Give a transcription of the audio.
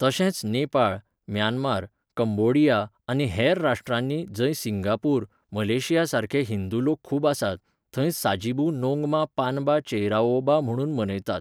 तशेंच Nepal, Myanmar, Cambodia आनी हेर राश्ट्रांनी, जंय सिंगापूर, मलेशियासारके हिंदू लोक खूब आसात, थंय साजीबू नोंगमा पानबा चेइराओबा म्हणून मनयतात.